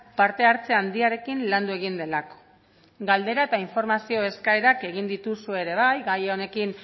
parte hartze handiarekin landu egin delako galdera eta informazio eskaerak egin dituzue ere bai gai honekin